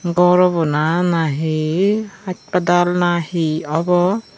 gor obo na nahi haspatal na he obo.